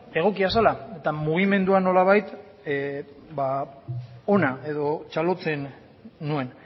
egokia zela eta mugimendua nolabait ona edo txalotzen nuen